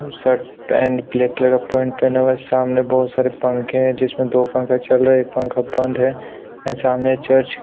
Shirt pant black colour का pant पहना हुआ है सामने बहुत सारे पंखे है जिसमे दो पंखे चल रहे है। एक पंखा बन्द है एंड सामने चर्च --